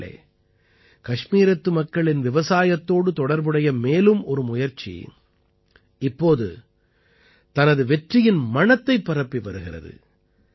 நண்பர்களே கஷ்மீரத்து மக்களின் விவசாயத்தோடு தொடர்புடைய மேலும் ஒரு முயற்சி இப்போது தனது வெற்றியின் மணத்தைப் பரப்பி வருகிறது